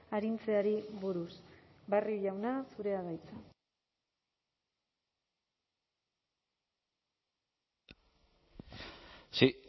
arintzeari buruz barrio jauna zurea da hitza sí